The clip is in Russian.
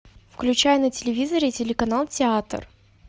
включай на телевизоре телеканал театр